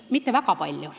Mitte väga palju.